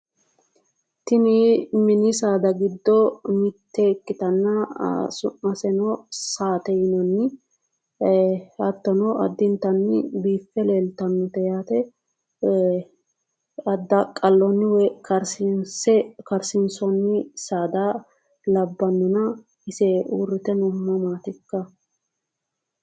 Tini mini saada giddo mitte ikkitanna su'maseno saate yinanni. Hattono addintanni biiffe leeltannote yaate. Addaaqqalloonni woyi karsiinse karsiinsoonni saada labbannona ise uurrite noohu mamaati ikka?